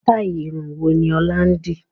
Sitai irun wo ni ọ̀la ń di?